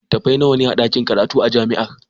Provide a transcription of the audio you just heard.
Littattafai nawa ne a ɗakin karatu na jami'ar?